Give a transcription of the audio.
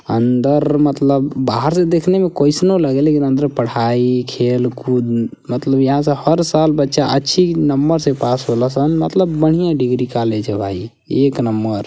अंदर मतलब बाहर से देखने में कईसनो लागे लेकिन अंदर पढ़ाई खेल कूद मतलब यहां से हर साल बच्चा अच्छी नंबर से पास होल सन। मतलब बढ़िया डग्री कॉलेज ह भाई। एक नम्मर --